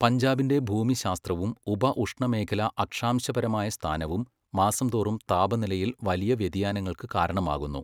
പഞ്ചാബിൻ്റെ ഭൂമിശാസ്ത്രവും ഉപഉഷ്ണമേഖലാ അക്ഷാംശപരമായ സ്ഥാനവും മാസംതോറും താപനിലയിൽ വലിയ വ്യതിയാനങ്ങൾക്ക് കാരണമാകുന്നു.